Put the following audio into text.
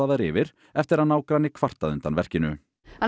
yfir eftir að nágranni kvartaði undan verkinu